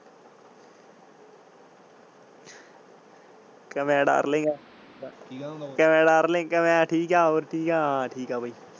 ਕਹਿੰਦਾ darling ਕਹਿੰਦਾ darling ਕਿਵੇਂ ਆ ਠੀਕ ਆ ਹੋਰ ਕਿ ਹਾਲ ਆ? ਮੈਂ ਕਿਹਾ ਠੀਕ ਆ ਬਾਯੀ।